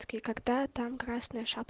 когда там красный